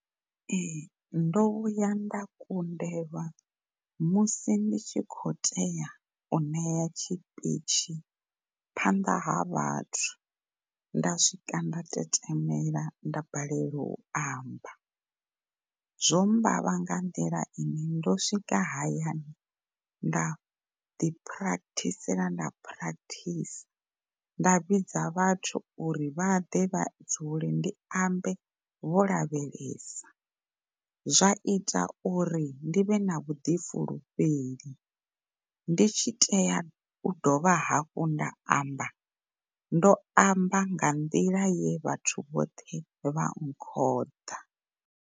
Ehe, ndo vhuya nda kundelwa musi ndi tshi khou tea uṋea tshipitshi phanḓa ha vhathu nda swika nda tetemela nda balelwa u amba zwo mmbavha nga nḓila ine ndo swikaho hayani nda ḓi practice nda vhidza vhathu uri vha ḓe vha dzule ndi ambe vho lavhelesa zwa itauri ndi vhe na vhuḓifulufheli ndi tshi tea u dovha hafhu nda amba, ndo amba nga nḓila ye vhathu vhoṱhe vha ṅkhouḓa.